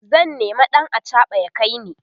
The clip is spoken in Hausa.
zan nema ɗan achaɓa ya kaini